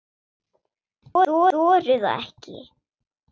Ég þori það ekki.